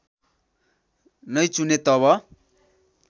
नै चुने तब